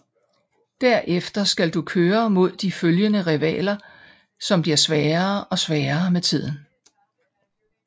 Der efter skal du køre mod de følgende rivaler som bliver sværere og sværere med tiden